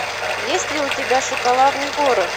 есть ли у тебя шоколадный город